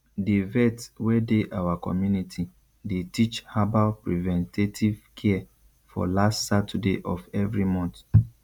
the vet wey dey our community dey teach herbal preventative care for last saturday of every month